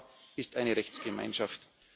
Europa ist eine Rechtsgemeinschaft.